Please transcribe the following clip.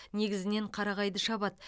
негізінен қарағайды шабады